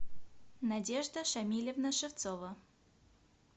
надежда шамильевна шевцова